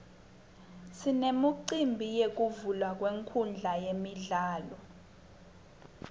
sinemicimbi yekuvulwa kwenkhundla yemidlalo